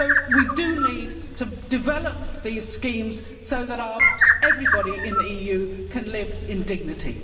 We do need to develop these schemes so that everybody in the EU can live in dignity.